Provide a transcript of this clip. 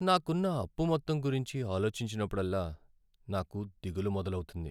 నాకున్న అప్పు మొత్తం గురించి ఆలోచించినప్పుడల్లా నాకు దిగులు మొదలవుతుంది.